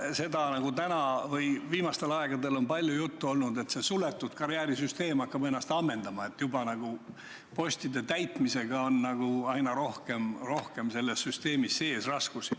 Sellest on viimastel aegadel palju juttu olnud, et see suletud karjäärisüsteem hakkab ennast ammendama, ametipostide täitmisega on süsteemi sees aina rohkem ja rohkem raskusi.